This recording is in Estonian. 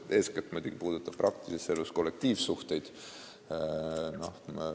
See puudutab praktilises elus eeskätt kollektiivsuhteid.